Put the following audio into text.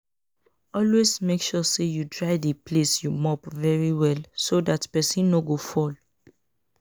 Always make sure you dry the place you mop very well so dat person no go fall